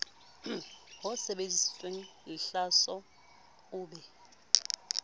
ho sebeditsweng lehlaso o be